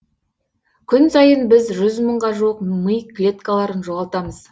күн сайын біз жүз мыңға жуық ми клеткаларын жоғалтамыз